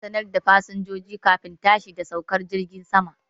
Ana sanar da fasinjojin kafin tashi da saukar jirgin saman